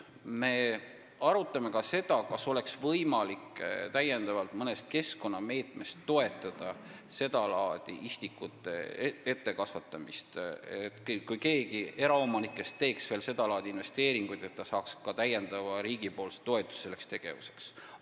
Me arutame ka seda, kas oleks võimalik täiendavalt mõnest keskkonnameetmest istikute ettekasvatamist toetada, et kui keegi eraomanikest teeks veel seda laadi investeeringuid, siis ta saaks riigilt täiendavat toetust selleks tegevuseks.